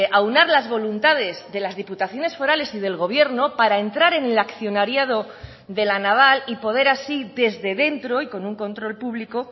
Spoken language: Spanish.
aunar las voluntades de las diputaciones forales y del gobierno para entrar en el accionariado de la naval y poder así desde dentro y con un control público